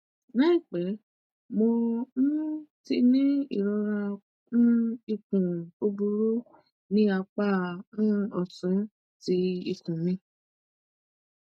laipe mo um ti ni irora um ikun buburu ni apa um ọtun ti ikun mi